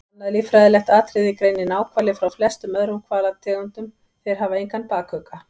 Annað líffræðilegt atriði greinir náhvali frá flestum öðrum hvalategundum- þeir hafa engan bakugga.